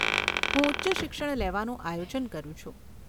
હું ઉચ્ચ શિક્ષણ લેવાનું આયોજન કરું છું.